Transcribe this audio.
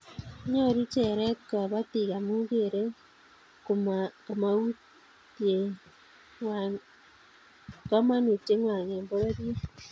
Nyoru cheret kobotik amu kerei komoutietngwai eng pororiet